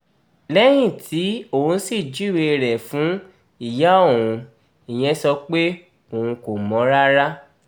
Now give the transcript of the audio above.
lẹ́yìn tí òun sì júwe rẹ̀ fún ìyá òun ìyẹn sọ pé òun kò mọ̀ ọ́n rárá